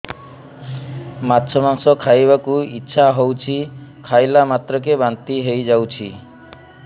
ମାଛ ମାଂସ ଖାଇ ବାକୁ ଇଚ୍ଛା ହଉଛି ଖାଇଲା ମାତ୍ରକେ ବାନ୍ତି ହେଇଯାଉଛି